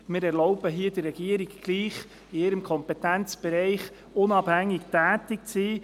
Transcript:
Wir erlauben der Regierung, in ihrem Kompetenzbereich unabhängig tätig zu sein.